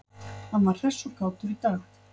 Hann var hress og kátur í dag.